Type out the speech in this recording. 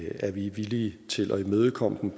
er vi villige til at imødekomme dem